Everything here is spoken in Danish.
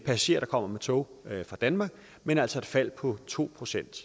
passagerer der kommer med tog fra danmark men altså et fald på to procent